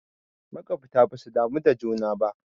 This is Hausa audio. Makwabta basu damu da juna ba